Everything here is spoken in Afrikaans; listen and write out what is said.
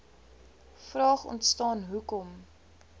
vraag ontstaan hoekom